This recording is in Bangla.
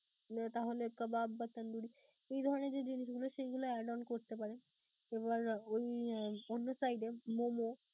তাহলে কাবাব বা তান্দুরি এই ধরনের যে জিনিসগুলো সেইগুলো add on করতে পারেন, এবার ওই অন্য side এ momo